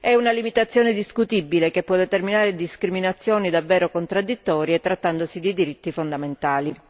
È una limitazione discutibile che può determinare discriminazioni davvero contradditorie trattandosi di diritti fondamentali.